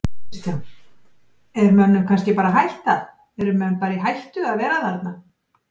Kristján: Er mönnum kannski bara hætta, eru menn bara í hættu að vera þarna?